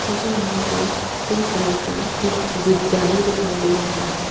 मुझे यहां पे पिंक कलर का एक विद्यालय दिखाई दे रहा है।